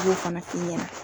Ala kan'a k'i ɲɛna